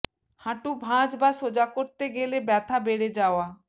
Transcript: হাঁটু ভাঁজ বা সোজা করতে গেলে ব্যথা বেড়ে যাওয়া